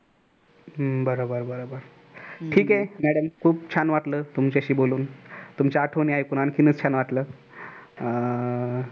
हम्म बर बर ठीक आहे madam खुप छान वाटलं तुमच्याशी बोलून तुमच्या आठवणी ऐकून आणखीनच छान वाटली अह thank you